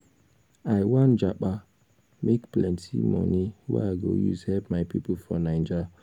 i wan japa make plenty money wey i go use help my pipo for naija.